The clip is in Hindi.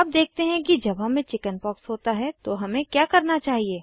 अब देखते हैं कि जब हमें चिकिन्पॉक्स होता है तो हमें क्या करना चाहिए